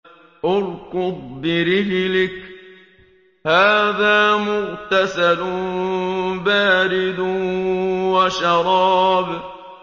ارْكُضْ بِرِجْلِكَ ۖ هَٰذَا مُغْتَسَلٌ بَارِدٌ وَشَرَابٌ